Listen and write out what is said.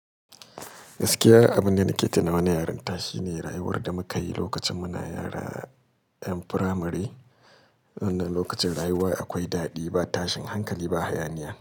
Gaskiya abunda nake tunawa na yarinta shine rayuwar da mukayi lokacin muna yara 'yan firamare, wannan lokacin rayuwa akwai daɗi ba tashin hankali ba hayaniya.